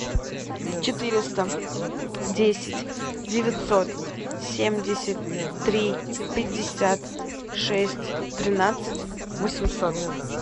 четыреста десять девятьсот семьдесят три пятьдесят шесть тринадцать восемьсот